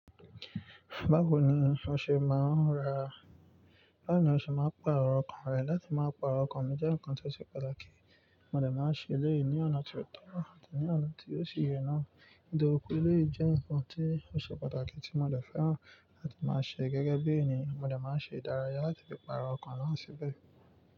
Báwo ni o ṣe máa ra, báwo ni o ṣe máa pàrọ̀ ọkàn rẹ láti má pa ọkàn mi jẹ́ nǹkan tó ṣe pàtàkì. Mo dẹ̀ má ṣe eleyi ni ọ̀nà tó tọ́ àti ní ọ̀nà tí ò sì yẹ náà. Nitoripé eleyi jẹ́ nǹkan tí ó ṣe pàtàkì tí mo dẹ̀ fẹ́ràn láti má ṣe gẹ́gẹ́ bí ènìyàn. Mo dẹ̀ má ṣe ìdárayá láti fi pàrọ̀ ọkàn náà síbẹ̀